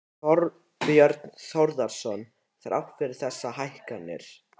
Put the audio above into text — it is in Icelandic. Þorbjörn Þórðarson: Þrátt fyrir þessar hækkanir?